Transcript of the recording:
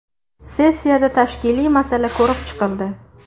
Sessiyada tashkiliy masala ko‘rib chiqildi.